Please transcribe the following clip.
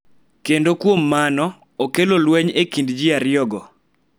Kendo kuom mano, okelo lweny e kind ji ariyogo .